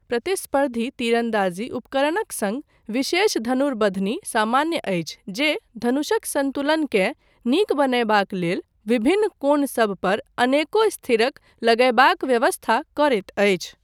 प्रतिस्पर्धी तीरन्दाजी उपकरणक सङ्ग विशेष धनुर्बंधनी सामान्य अछि जे धनुषक सन्तुलनकेँ नीक बनयबाक लेल विभिन्न कोण सब पर अनेको स्थिरक लगयबाक व्यवस्था करैत अछि।